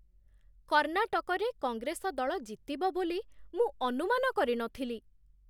କର୍ଣ୍ଣାଟକରେ କଂଗ୍ରେସ ଦଳ ଜିତିବ ବୋଲି ମୁଁ ଅନୁମାନ କରି ନ ଥିଲି।